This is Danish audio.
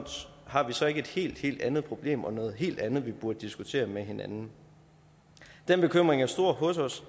har vi så ikke et helt helt andet problem og noget helt andet vi burde diskutere med hinanden den bekymring er stor hos os